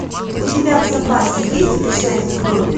у тебя в запасе есть пришельцы в доме